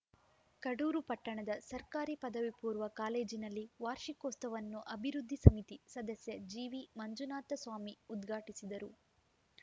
ಕಡೂರು ಪಟ್ಟಣದ ಸರ್ಕಾರಿ ಪದವಿಪೂರ್ವ ಕಾಲೇಜಿನಲ್ಲಿ ವಾರ್ಷಿಕೋತ್ಸವನ್ನು ಅಭಿವೃದ್ಧಿ ಸಮಿತಿ ಸದಸ್ಯ ಜಿವಿ ಮಂಜುನಾಥಸ್ವಾಮಿ ಉದ್ಘಾಟಿಸಿದರು